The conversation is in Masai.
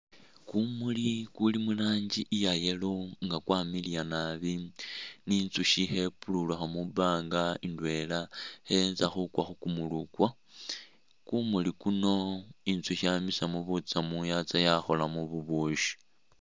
Kumuli kuli mu langi iya yellow nga kwamiliya naabi ni inzush khe pululukha mwipanga indwela khe enza khukwa khu kumuli kwo. Kumuli kuno inzushi yamisamu butsamu yatsa yakholamo bubushi.